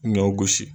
Ɲɔ gosi